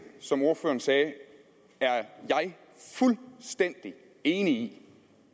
som ordføreren sagde jeg er fuldstændig enig